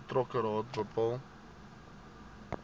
betrokke raad bepaal